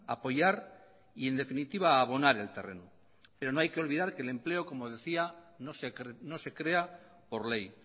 apoyar y en definitiva a abonar el terreno pero no hay que olvidar que el empleo como decía no se crea por ley